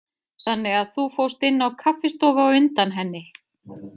Þannig að þú fórst inn á kaffistofu á undan henni.